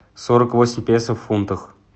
сорок восемь песо в фунтах